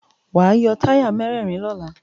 Wàá yọ táyà mẹ́rẹ̀rin lọ́la.